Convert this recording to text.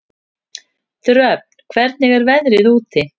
Dröfn, hvernig er veðrið úti?